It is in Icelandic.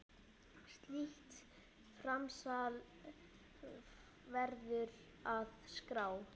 Slíkt framsal verður að skrá.